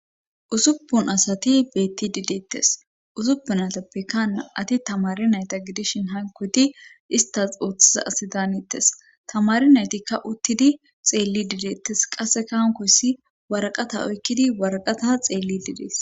Usuppun asati beetti dideettes usuppun atappekaa ati tamarinayta gidishin hankoti istas oothiza asi daanettes tamari naytikka uttidi xeelli dideettes qasse kahankoyssi waraqata oykkidi waraqata xeelli didees.